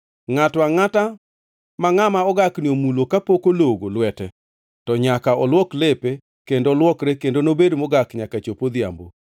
“ ‘Ngʼato angʼata ma ngʼama ogakni omulo kapok ologo lwete to nyaka olwok lepe kendo olwokre kendo nobed mogak nyaka chop odhiambo.